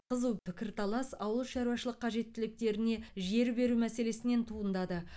қызу пікірталас ауылшаруашылық қажеттіліктеріне жер беру мәселесінен туындады